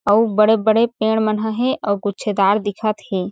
अउ बड़े -बड़े पेड़ मन ह हेऔर गुछीदार दिखत हे।